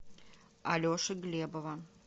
алеши глебова